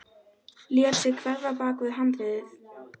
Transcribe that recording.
Lét sig hverfa bak við handriðið.